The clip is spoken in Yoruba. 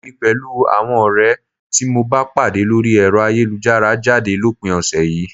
Èmi pẹ̀lú àwọn ọ̀rẹ́ tí mo bá pàdé lórí ẹ̀rọ ayélujára ń jáde lópin ọ̀sẹ̀ yìí